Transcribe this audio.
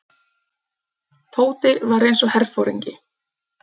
Tóti var eins og herforingi.